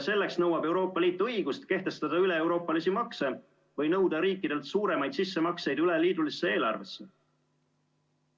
Selleks nõuab Euroopa Liit õigust kehtestada üleeuroopalisi makse või nõuda riikidelt suuremaid sissemakseid üleliidulisse eelarvesse.